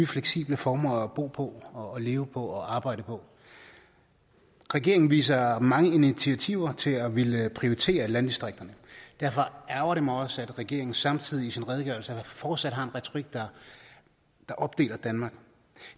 fleksible former at bo på og leve på og arbejde på regeringen viser mange initiativer til at ville prioritere landdistrikterne derfor ærgrer det mig også at regeringen samtidig i sin redegørelse fortsat har en retorik der opdeler danmark